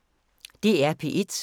DR P1